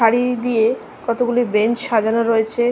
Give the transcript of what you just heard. সারি দিয়ে কতগুলি বেঞ্চ সাজানো রয়েছে।